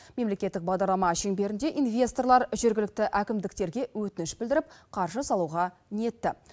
мемлекеттік бағдарлама шеңберінде инвесторлар жергілікті әкімдіктерге өтініш білдіріп қаржы салуға ниетті